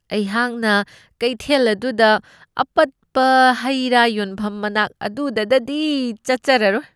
ꯑꯩꯍꯥꯛꯅ ꯀꯩꯊꯦꯜ ꯑꯗꯨꯗ ꯑꯄꯠꯕ ꯍꯩꯔꯥ ꯌꯣꯟꯐꯝ ꯃꯅꯥꯛ ꯑꯗꯨꯗꯗꯗꯤ ꯆꯠꯆꯔꯂꯣꯏ꯫